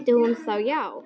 Vildi hún það já?